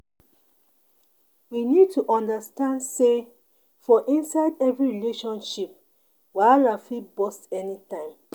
We need to understand sey for inside every relationship wahala fit burst anytime